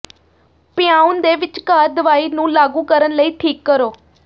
ਪਿਆਉਣ ਦੇ ਵਿਚਕਾਰ ਦਵਾਈ ਨੂੰ ਲਾਗੂ ਕਰਨ ਲਈ ਠੀਕ ਕਰੋ